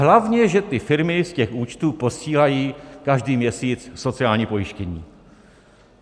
Hlavně že ty firmy z těch účtů posílají každý měsíc sociální pojištění!